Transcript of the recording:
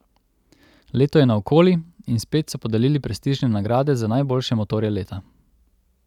Leto je naokoli in spet so podelili prestižne nagrade za najboljše motorje leta.